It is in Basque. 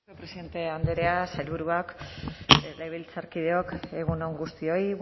presidente andrea sailburuak legebiltzarkideok egun on guztioi